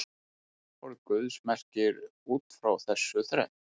Orð Guðs merkir út frá þessu þrennt.